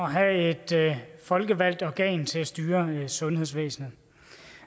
have et folkevalgt organ til at styre sundhedsvæsenet